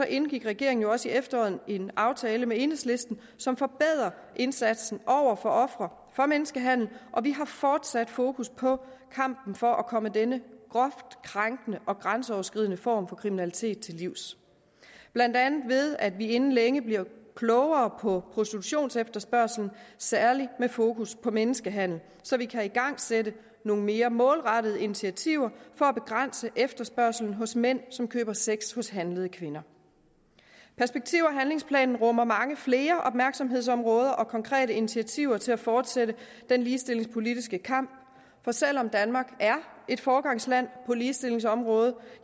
indgik regeringen også i efteråret en aftale med enhedslisten som forbedrer indsatsen for ofre for menneskehandel og vi har fortsat fokus på kampen for at komme denne groft krænkende og grænseoverskridende form for kriminalitet til livs blandt andet ved at vi inden længe bliver klogere på prostitutionsefterspørgsel med særlig fokus på menneskehandel så vi kan igangsætte nogle mere målrettede initiativer for at begrænse efterspørgslen hos mænd som køber sex hos handlede kvinder perspektiv og handlingsplanen rummer mange flere opmærksomhedsområder og konkrete initiativer til at fortsætte den ligestillingspolitiske kamp for selv om danmark er et foregangsland på ligestillingsområdet